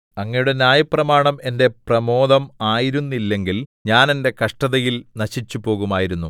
അങ്ങയുടെ ന്യായപ്രമാണം എന്റെ പ്രമോദം ആയിരുന്നില്ലെങ്കിൽ ഞാൻ എന്റെ കഷ്ടതയിൽ നശിച്ചുപോകുമായിരുന്നു